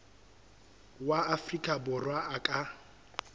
wa afrika borwa a ka